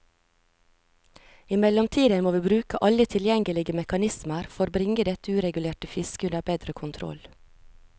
I mellomtiden må vi bruke alle tilgjengelige mekanismer for bringe dette uregulerte fisket under bedre kontroll.